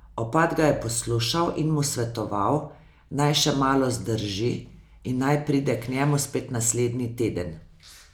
Opat ga je poslušal in mu svetoval, naj še malo zdrži in naj pride k njemu spet naslednji teden.